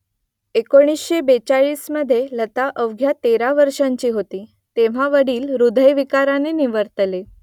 एकोणीसशे बेचाळीसमधे लता अवघ्या तेरा वर्षांची होती , तेव्हा वडील हृदयविकाराने निवर्तले